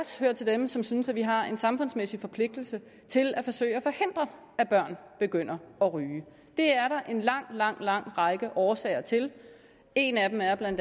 hører til dem som synes at vi har en samfundsmæssig forpligtelse til at forsøge at forhindre at børn begynder at ryge det er der en lang lang lang række årsager til en af dem er bla